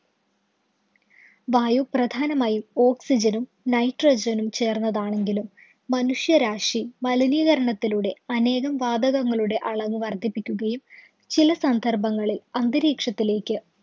വായു പ്രധാനമായും oxygen ഉം, nitrogen ഉം ചേര്‍ന്നതാണെങ്കിലും മനുഷ്യരാശി മലിനീകരണത്തിലൂടെ അനേകം വാതകങ്ങളുടെ അളവ് വര്‍ദ്ധിപ്പിക്കുകയും ചില സന്ദര്‍ഭങ്ങളില്‍ അന്തരീക്ഷത്തിലേക്ക്